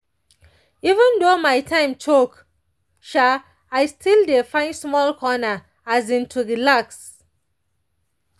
even though my time choke um i still dey find small corner um to relax.